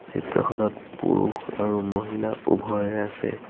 চিত্ৰখনত পুৰুষ আৰু মহিলা উভয়ে আছে।